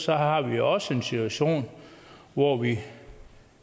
har vi også en situation hvor vi